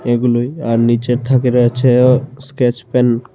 এগুলোই আর নীচের থাকে রয়েছে স্কেচপেন ।